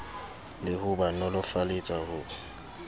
le ho ba nolofaletsa ho